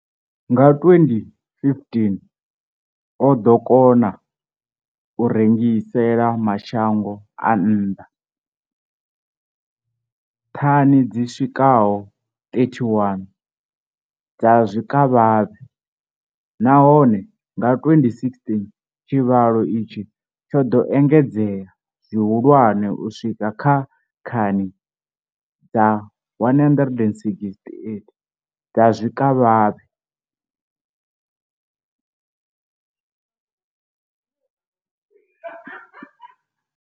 Nga 2015, o ḓo kona u rengisela mashango a nnḓa thani dzi swikaho 31 dza zwikavhavhe, nahone nga 2016 tshivhalo itshi tsho ḓo engedzea zwihulwane u swika kha thani dza 168 dza zwikavhavhe.